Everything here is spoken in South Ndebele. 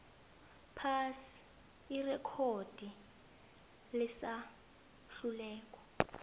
phasi irekhodi lesahlulelo